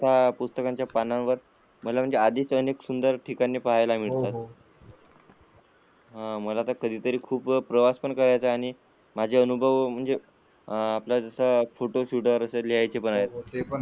पुस्तकाच्या पानावर मला म्हणजे आधीच सुंदर ठिकाणी पाह्यला मिळतात, हो मला तर कधीतरी खूप प्रवास पण करायचा आहे आणि माझ्या अनुभव म्हणजे जस फोटोशुट असेल तसे लिहयचे पण आहेत.